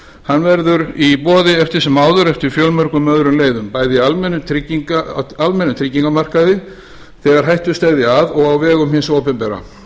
hann verður í boði eftir sem áður eftir fjölmörgum öðrum leiðum bæði almennum tryggingamarkaði þegar hættur steðja að og á vegum hins opinbera